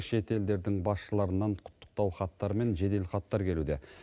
шетелдердің басшыларынан құттықтау хаттар мен жеделхаттар келуде